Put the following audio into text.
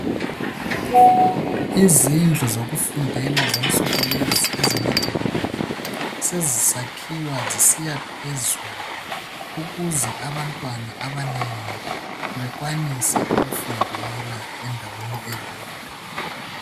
Izindlu zokufundela zansuku lezi ezemadolobheni sezisakhiwa zisiya phezulu ukuze abantwana abanengi bekwanise ukufundela endaweni eyodwa.